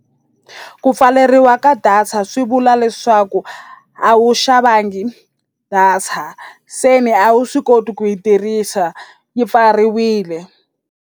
Ku pfaleriwa ka data swi vula leswaku a wu xavangi data se ni a wu swi koti ku yi tirhisa yi pfariwile.